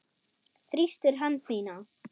Þrýstir hönd mína.